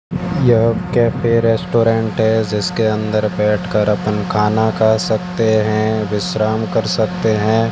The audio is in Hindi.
यह कैफे रेस्टोरेंट है जिसके अंदर बैठ कर अपन खाना खा सकते हैं विश्राम कर सकते हैं।